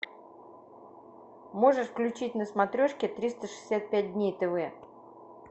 можешь включить на смотрешки триста шестьдесят пять дней тв